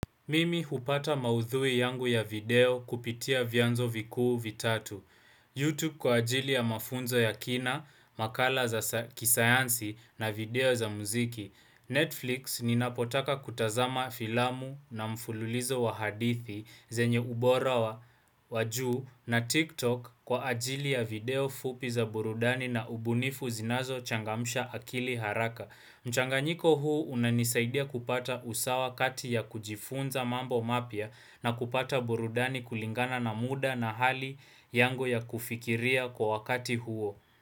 Mimi hupata maudhui yangu ya video kupitia vyanzo vikuu vitatu YouTube kwa ajili ya mafunzo ya kina, makala za kisayansi na video za muziki Netflix ninapotaka kutazama filamu na mfululizo wa hadithi zenye ubora wa juu na TikTok kwa ajili ya video fupi za burudani na ubunifu zinazo changamsha akili haraka mchanganyiko huu unanisaidia kupata usawa kati ya kujifunza mambo mapya na kupata burudani kulingana na muda na hali yangu ya kufikiria kwa wakati huo.